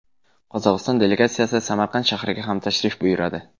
Qozog‘iston delegatsiyasi Samarqand shahriga ham tashrif buyuradi.